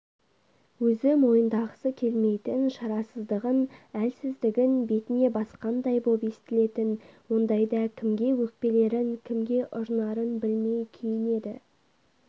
өзі мойындағысы келмейтін шарасыздығын әлсіздігін бетіне басқандай боп естілетін ондайда кімге өкпелерін кімге ұрынарын білмей күйінеді